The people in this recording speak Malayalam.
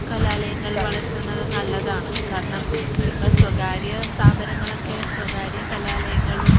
കലാലയങ്ങൾ വളർത്തുന്നത് നല്ലതാണ് കാരണം, ഇപ്പോ സ്വകാര്യസ്ഥാപനങ്ങളൊക്കെ സ്വകാര്യ കലാലയങ്ങളും